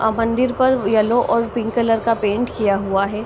अ मंदिर पर येलो और पिंक कलर का पेंट किया हुआ है।